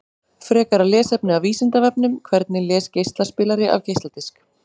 Frekara lesefni af Vísindavefnum: Hvernig les geislaspilari af geisladisk?